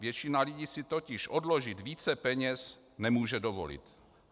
Většina lidí si totiž odložit více peněz nemůže dovolit.